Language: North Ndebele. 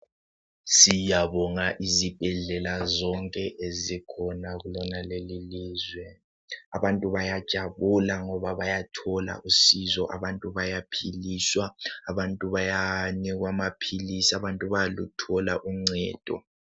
Siyabonga izibhedlela zonke ezikhona kulona leli ilizwe. Abantu bayajabula ngoba bayathola usizo, abantu bayaphiliswa. Abantu bayanikwa amaphilisi ,abantu bayaluthola uncedo.